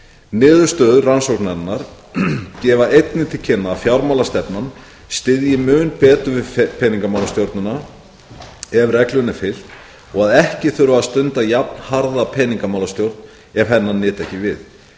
niðurstöður rannsóknarinnar gefa einnig til kynna að fjármálastefnan styðji mun betur við peningamálastjórnina ef reglunni er fylgt og að ekki þurfi að stunda jafnharða peningamálastjórn ef hennar nyti ekki við